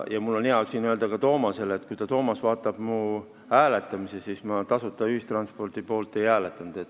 Mul on hea siin öelda ka Toomasele, et kui ta vaatab minu käitumist hääletamistel, siis ta näeb, et ma tasuta ühistranspordi poolt ei hääletanud.